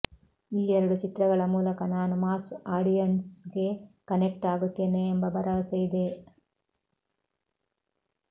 ಈ ಎರಡು ಚಿತ್ರಗಳ ಮೂಲಕ ನಾನು ಮಾಸ್ ಆಡಿಯನ್ಸ್ಗೆ ಕನೆಕ್ಟ್ ಆಗುತ್ತೇನೆ ಎಂಬ ಭರವಸೆ ಇದೆ